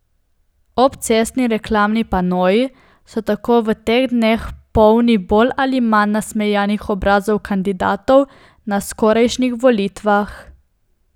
Obcestni reklamni panoji so tako v teh dneh polni bolj ali manj nasmejanih obrazov kandidatov na skorajšnjih volitvah.